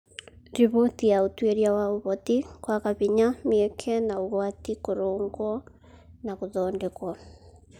Riboti ya ũtuĩria wa Ũhoti, kwaga hinya, mĩeke, na ũgwati Kũrũngwo na gũthondekwo